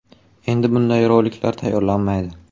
Endi bunday roliklar tayyorlanmaydi”.